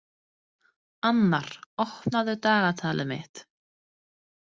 Annar, opnaðu dagatalið mitt.